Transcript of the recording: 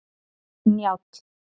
Njáll